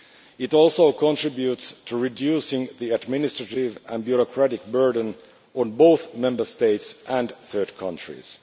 It also contributes to reducing the administrative and bureaucratic burden on both Member States and third countries.